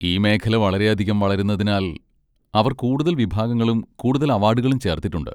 ഈ മേഖല വളരെയധികം വളരുന്നതിനാൽ അവർ കൂടുതൽ വിഭാഗങ്ങളും കൂടുതൽ അവാഡുകളും ചേർത്തിട്ടുണ്ട്.